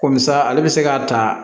Komi sa ale bɛ se k'a ta